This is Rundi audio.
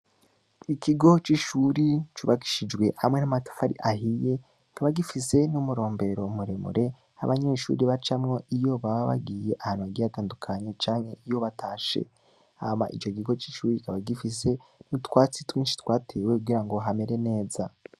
Ikigo c'ishuri cubakishijwe hamwe n'amatafari ahiye kikaba gifise n'umurombero muremure abanyeshuri bacamwo iyo baba bagiye ahantu hagiye tandukanye canke iyo batashe. Hama ico kigo c'ishuri kikaba gifise utwatsi twinshi twatewe kugira ngo hamere neza.